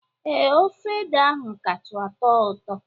Ee, ofe ede ahụ kacha tọọ ụtọ